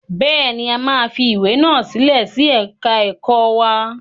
Bẹ́ẹ̀ ni, a máa fi ìwé náà sílẹ̀ sí ẹ̀ka ẹ̀kọ́ wa.